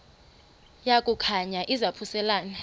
yaku khankanya izaphuselana